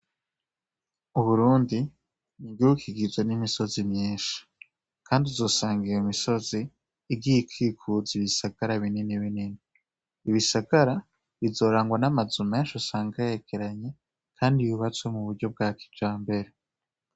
Uburundi ni igihugu kigizwe n'imisozi myinshi ,kandi uzosanga iyo misozi igiye ikikuzwa n'ibisagara bininibinini. Ibisagara bizorangwamwo amazu menshi usange yegeranye kandi yubatswe muburyo bwa kijambere.